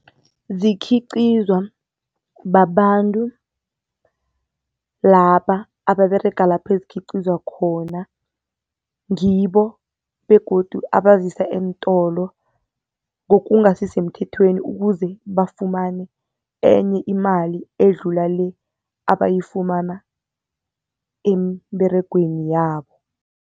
Zikhiqizwa babantu laba ababerega lapho ezikhiqizwa khona. Ngibo begodu abazisa entolo ngokungasisemthethweni, ukuze bafumane enye imali edlula le abayifumana emberegweni yabo.